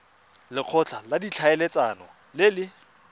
lekgotla la ditlhaeletsano le le